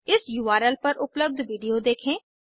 इस उर्ल पर उपलब्ध विडिओ देखें